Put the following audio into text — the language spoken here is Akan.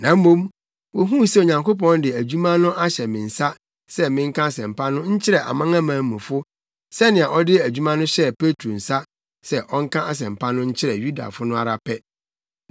Na mmom wohuu sɛ Onyankopɔn de adwuma no ahyɛ me nsa sɛ menka Asɛmpa no nkyerɛ amanamanmufo sɛnea ɔde adwuma no hyɛɛ Petro nsa sɛ ɔnka Asɛmpa no nkyerɛ Yudafo no ara pɛ.